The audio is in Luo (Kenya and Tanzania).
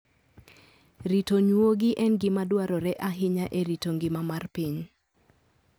Rito nyuogi en gima dwarore ahinya e rito ngima mar piny.